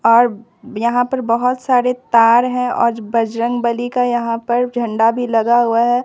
और यहां पर बहोत सारे तार है और बजरंगबली का यहां पर झंडा भी लगा हुआ है।